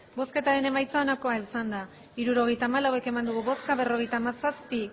hirurogeita hamalau eman dugu bozka berrogeita hamazazpi